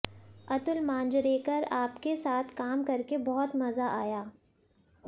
अतुल मांजरेकर आपके साथ काम करके बहुत मजा आया